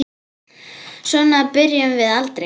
Svona spyrjum við aldrei.